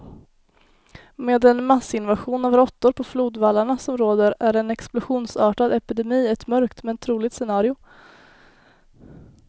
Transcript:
Med den massinvasion av råttor på flodvallarna som råder är en explosionsartad epidemi ett mörkt, men troligt scenario.